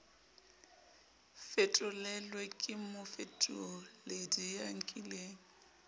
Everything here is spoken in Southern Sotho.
fetolelwe ke mofetoledi ya nkileng